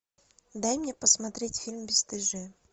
дай мне посмотреть фильм бесстыжие